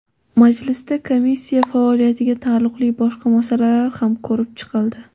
Majlisda komissiya faoliyatiga taalluqli boshqa masalalar ham ko‘rib chiqildi.